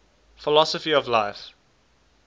philosophy of life